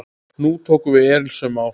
Nú tóku við erilsöm ár.